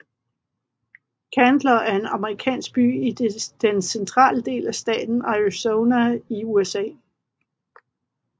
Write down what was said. Chandler er en amerikansk by i den centrale del af staten Arizona i USA